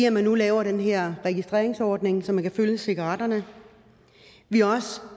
at man nu laver den her registreringsordning så man kan følge cigaretterne vi er også